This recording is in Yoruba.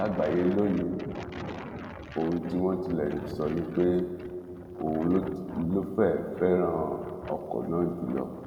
lágbáyé lọnìní ohun tí wọn tilẹ ń sọ ni pé òun ló fẹẹ fẹràn ọkọ náà jù lọ